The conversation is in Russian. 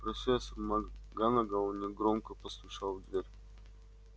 профессор макганагалл негромко постучал в дверь